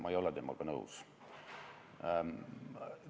Ma ei ole temaga nõus.